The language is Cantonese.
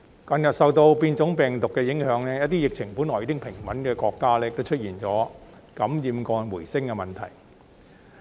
近日受到變種病毒的影響，一些疫情本來已穩定的國家也出現感染個案回升的問題。